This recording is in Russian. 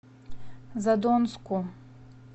задонску